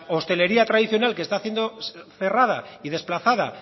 hostelería tradicional que está siendo cerrada y desplazada